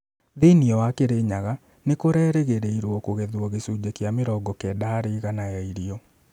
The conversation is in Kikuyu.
Thĩinĩ wa Kirinyaga, nĩ kũrerĩgĩrĩirũo kũgethwo gĩcunjĩ kĩa mĩrongo kenda harĩ igana ya irio.